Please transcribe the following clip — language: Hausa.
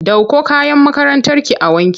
Ɗauko kayan makarantarki a wanke!